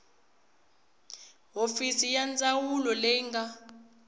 hofisi ya ndzawulo leyi nga